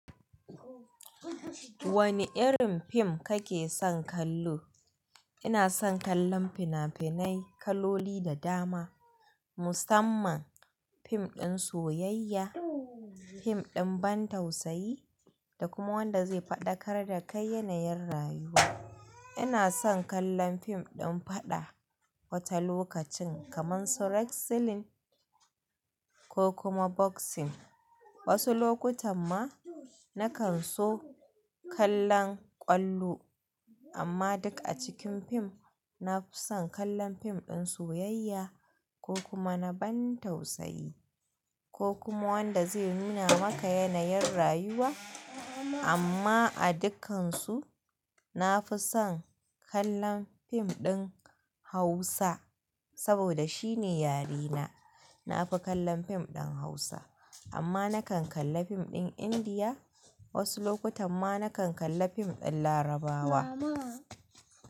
Wane irin fim kake son kallo? Ina son kallon fina-finai, kaloli da dama, musamman fim ɗin soyayya, fim ɗin ban tausayi da kuma wanda zai faɗa kar da kai yanayin rayuwa. Ina son kallon fim ɗin faɗa wata lokacin kamar su wrestling ko kuma boxing. Wasu lokutan ma na kan so kallon ƙwallo amma duk a cikin fim na fi son kallon fim ɗin soyayya ko kuma na ban tausayi ko kuma wanda zai nuna maka yanayin rayuwa amma a dukkansu na fi son kallon fim ɗin Hausa saboda shine yare na. Na fi kallon fim ɗin Hausa amma na kan kalla fim ɗin Indiya. Wasu lokutan ma na kan kalla fim ɗin Larabawa.